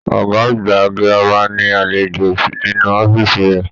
Ọgá àgbà gírámà ní alejò nínú ọ̀fiísí rẹ.